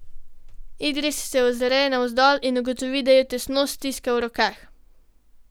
Idris se ozre navzdol in ugotovi, da jo tesno stiska v rokah.